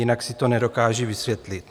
Jinak si to nedokážu vysvětlit.